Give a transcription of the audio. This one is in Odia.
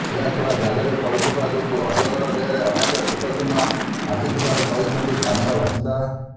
ଏହାଛଡ଼ା ଜାଲରେ ପଡ଼ିଥିବା ଯୋଗୁଁ ଅଜଗର ଦେହରେ ଅନେକ କ୍ଷତ ଚିହ୍ନ ଆସିଥିବାର କହିଛନ୍ତି ସ୍ଥାନୀୟ ବାସିନ୍ଦା